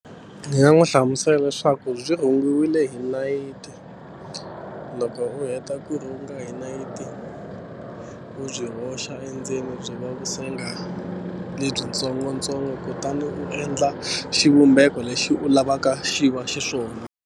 Ni nga n'wi hlamusela leswaku byi rhungiwile hi nayiti loko u heta ku rhunga hi nayiti u byi hoxa endzeni byi va [ lebyi tsongotsongo kutani u endla xivumbeko lexi u lavaka xi va xiswona.